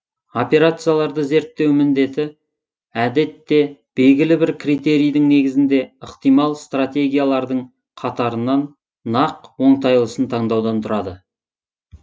операцияларды зерттеу міндеті әдетте белгілі бір критерийдің негізінде ықтимал стратегиялардың қатарынан нақ оңтайлысын тандаудан тұрады